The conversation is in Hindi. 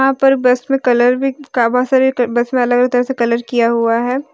ऊपर बस में कलर भी का बहुत सारी बस वाले ने तरह तरह से कलर किया हुआ है।